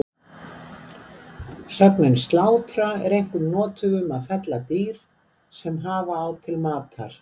Sögnin slátra er einkum notuð um að fella dýr sem hafa á til matar.